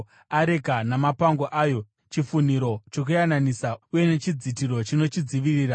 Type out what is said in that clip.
areka namapango ayo, chifunhiro chokuyananisa uye nechidzitiro chinochidzivirira;